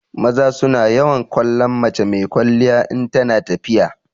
Maza su na yawan kallon mace mai kwalliya in tana tafiya.